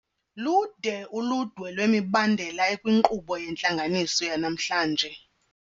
Ludwe uludwe lwemibandela ekwinkqubo yentlanganiso yanamhlanje.